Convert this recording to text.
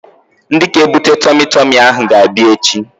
Ndị ga-ebute tọmi tọmi ahụ ga-abịa echi